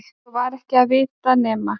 Svo var ekki að vita nema